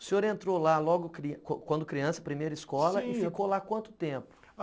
O senhor entrou lá logo quando criança, primeira escola, e ficou lá quanto tempo?